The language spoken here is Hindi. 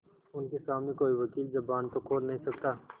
उनके सामने कोई वकील जबान तो खोल नहीं सकता